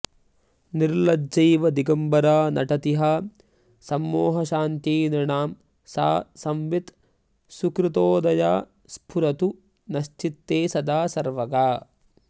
निर्लज्जैव दिगम्बरा नटति हा संमोहशान्त्यै नृणां सा संवित् सुकृतोदया स्फुरतु नश्चित्ते सदा सर्वगा